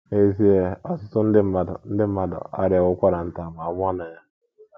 N’ezie, ọtụtụ ndị mmadụ ndị mmadụ arịawo ụkwara nta ma nwụọ na ya.